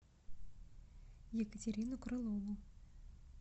екатерину крылову